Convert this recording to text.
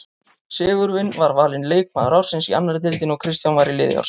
Sigurvin var valinn leikmaður ársins í annarri deildinni og Kristján var í liði ársins.